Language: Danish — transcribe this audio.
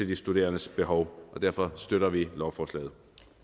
de studerendes behov derfor støtter vi lovforslaget